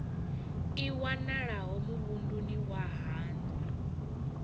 i wanalaho muvhunduni wa haṋu